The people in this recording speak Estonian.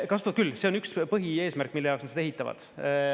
Kasutavad küll, see on üks põhieesmärk, mille jaoks nad seda ehitavad.